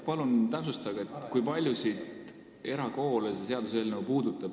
Palun täpsustage, kui paljusid erakoole see seaduseelnõu puudutab.